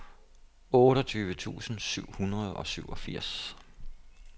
otteogtyve tusind syv hundrede og syvogfirs